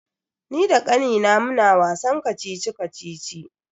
Ni da kannina muna wasan kacici-kacici.